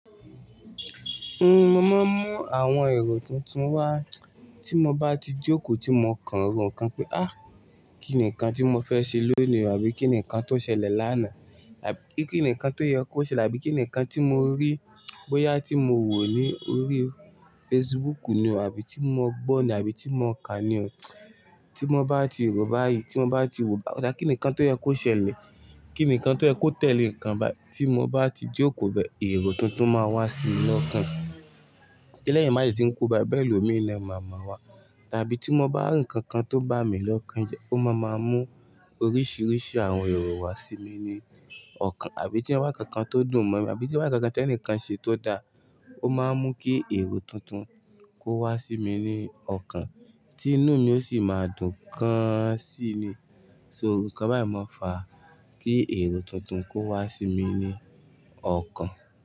Máa má mú àwọn èrò tuntun wá, tí mo bá ti jókòó tí mo kan èrò kan pé á, kí nìkan tí mo fẹ́ ṣe lónìí àbí kí nìkan tó ṣẹlẹ̀ lánàá àbí kí nìkan tó yẹ kó ṣẹlẹ̀ àbí kí nìkan tí mo rí bóyá tí mo wò ní orí Facebook ni àbí tí mo gbó ni àbí tí mo kà ni ọ̀ tí mo bá ti rò báyìí, tí mo bá ti wò bá ọ̀dà kí nìkan tó yẹ kó ṣẹlẹ̀, kí nìkan tó yẹ kó tẹ̀lé nǹkan bá tí mo bá ti jókòó bẹ, èrò tuntun máa wá sí mi lọ́ọ̀kan. Lẹ́yìn májèjì tí ń kú bá bẹ́ẹ̀ lómi ni màmá wa, tàbí tí mo bá rí ǹkan kan tó bá mi lọ́kon ńjẹ, ó máa máa mú oríṣiríṣi àwọn èrò wá sí mi ní ọ̀kan, àbí tí ń wá ǹkan kan tó dùn mọ́ mi, àbí tí ń wá ǹkan kan tí ẹnìkan ṣe tó da, ó máa ń mú kí èrò tuntun kó wá sí mi ní ọ̀kan, tí inú mi ó sì máa dùn gan sí i ni. So ǹkan báyìí máa ń fa kí èrò tuntun kó wá sí mi ní ọ̀kan.